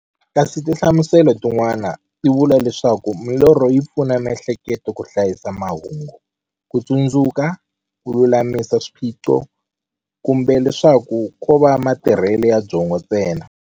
Kasi tinhlamuselo ti n'wana ti vula leswaku milorho yi pfuna miehleketo ka hlayisa mahungu, kutsundzuka, kululamisa swiphiqo, kumbe leswaku kova matirhele ya byongo ntsena.